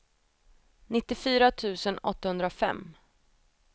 nittiofyra tusen åttahundrafem